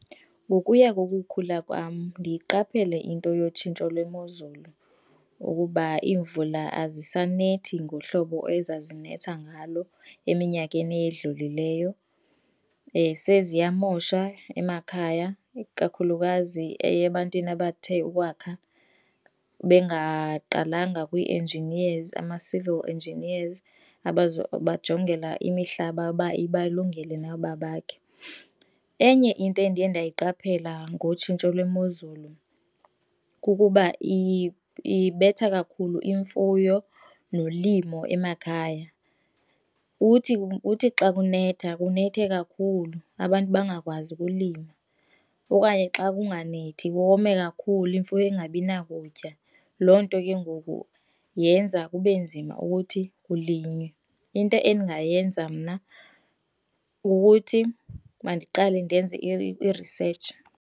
Ngokuya kokukhula kwam ndiyiqaphele into yotshintsho lwemozulu, ukuba iimvula azisanethi ngohlobo ezazinetha ngalo eminyakeni edlulileyo, seziyamosha emakhaya, kakhulukazi eyebantwini abathe ukwakha bengaqalanga kwi-engineers, ama-civil engineers abazobajongela imihlaba uba ibalungele na uba bakhe. Enye into endiye ndayiqaphela ngotshintsho lwemozulu kukuba ibetha kakhulu imfuyo nolimo emakhaya. Uthi xa kunetha kunethe kakhulu abantu bangakwazi ukulima okanye xa kunganethi kome kakhulu imfuyo ingabi na kutya. Loo nto kengoku yenza kube nzima ukuthi kulinywe. Into endingayenza mna ukuthi mandiqale ndenze i-research.